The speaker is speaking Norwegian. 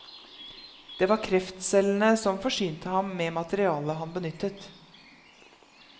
Det var kreftcellene som forsynte ham med materialet han benyttet.